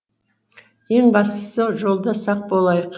ең бастысы жолда сақ болайық